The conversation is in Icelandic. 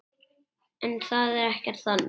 En það er ekkert þannig.